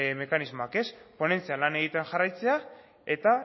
mekanismoak ponentzian lan egiten jarraitzea eta